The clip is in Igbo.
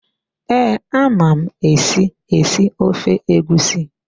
Ee, ama m esi, esi ofe egusi.